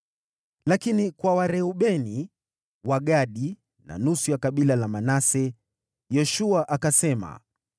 Lakini kwa Wareubeni, Wagadi na nusu ya kabila la Manase, Yoshua akasema,